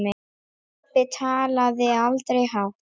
En pabbi talaði aldrei hátt.